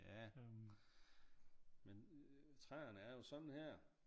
Ja men træerne er jo sådan her